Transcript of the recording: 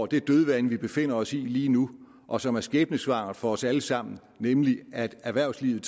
det dødvande vi befinder os i lige nu og som er skæbnesvangert for os alle sammen nemlig at erhvervslivet